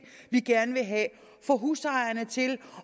vi gerne vil have